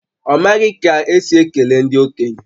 Ọ maghị ka esi ekele ndị okenye